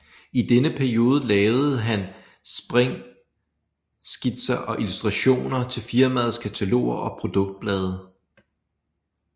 I denne periode lavede han sprængskitser og illustrationer til firmaets kataloger og produktblade